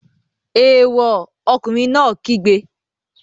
Èèwọ̀! Ọkùnrin náà kígbe.